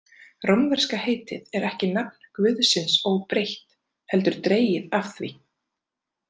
Rómverska heitið er ekki nafn guðsins óbreytt, heldur dregið af því.